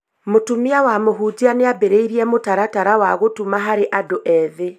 Mũtumia wa mũhunjia nĩambĩrĩirie mũtaratara wa gũtuma harĩ andũ ethĩ